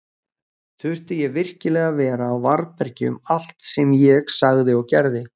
Þurfti ég virkilega að vera á varðbergi um allt sem ég sagði og gerði?